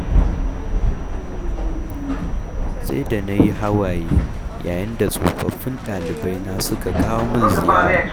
Sai da na yi hawaye, yayin da tsofaffin ɗalibai na suka kawo min ziyara.